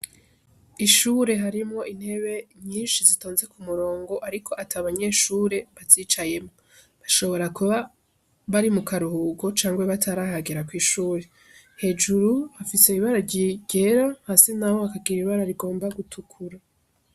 Ishure harimwo intebe nyinshi zitonze ku murongo ariko ata banyeshure bazicayemwo, bashobora kuba bari mu karuhuko cangwa batarahagera kw'ishure, hejuru hafise ibara ryera, hasi naho hakagira ibara rigomba gutukura.